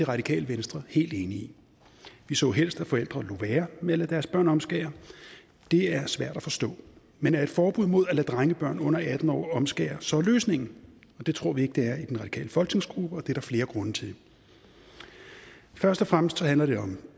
radikale venstre helt enig i vi så helst at forældre lod være med at lade deres børn omskære det er svært at forstå men er et forbud mod at lade drengebørn under atten år omskære så løsningen det tror vi ikke det er i den radikale folketingsgruppe og det er der flere grunde til først og fremmest handler det om